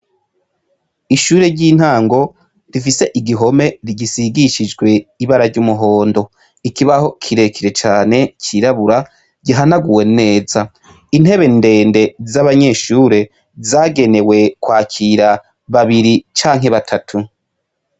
Ishure ry’intango rifise igihome gisigishijwe ibara ry’umuhondo ,ikibaho kirekire cane c’irabura gihanaguwe neza. Intebe ndende z’abanyeshure zagenewe kwakira babiri canke batatu.